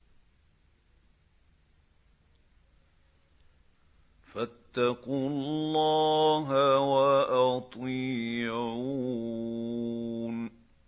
فَاتَّقُوا اللَّهَ وَأَطِيعُونِ